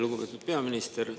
Lugupeetud peaminister!